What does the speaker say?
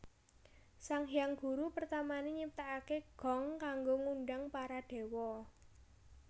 Sang Hyang Guru pertamané nyiptakaké gong kanggo ngundhang para dewa